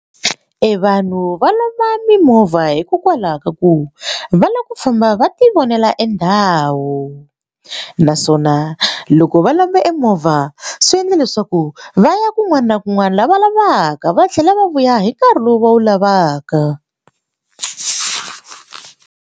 Evanhu va lomba mimovha hikokwalaho ka ku va lava ku famba va ti vonela e ndhawu naswona loko va lomba e movha swi endle leswaku va ya kun'wana na kun'wana laha va lavaka va tlhela va vuya hi nkarhi lowu va wu lavaka.